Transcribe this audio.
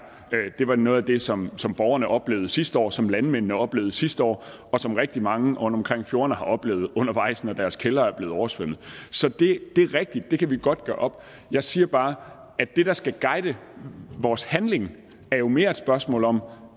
det var noget af det som som borgerne oplevede sidste år som landmændene oplevede sidste år og som rigtig mange rundtomkring fjordene har oplevet undervejs når deres kældre er blevet oversvømmet så det er rigtigt at det kan vi godt gøre op jeg siger bare at det der skal guide vores handling jo mere er et spørgsmål om